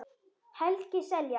Helgi Seljan.